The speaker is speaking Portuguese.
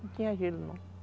Não tinha gelo, não.